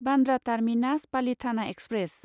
Bandra terminus Palitana express